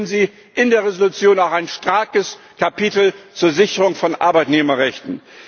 Deswegen finden Sie in der Entschließung auch ein starkes Kapitel zur Sicherung von Arbeitnehmerrechten.